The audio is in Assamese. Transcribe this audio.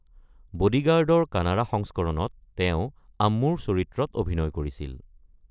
বডিগাৰ্ডৰ কানাড়া সংস্কৰণত তেওঁ আম্মুৰ চৰিত্ৰত অভিনয় কৰিছিল।